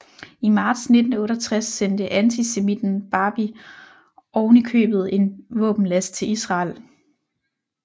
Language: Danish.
I marts 1968 sendte antisemitten Barbie ovenikøbet en våbenlast til Israel